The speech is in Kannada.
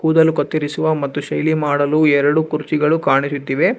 ಕೂದಲು ಕತ್ತರಿಸುವ ಮತ್ತು ಶೈಲಿ ಮಾಡಲು ಎರಡು ಕುರ್ಚಿಗಳು ಕಾಣಿಸುತ್ತಿವೆ.